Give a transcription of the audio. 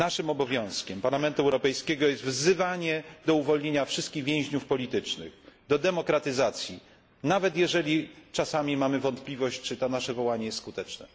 Obowiązkiem Parlamentu Europejskiego jest wzywanie do uwolnienia wszystkich więźniów politycznych, do demokratyzacji, nawet jeżeli czasami mamy wątpliwości, czy nasze wołanie jest skuteczne.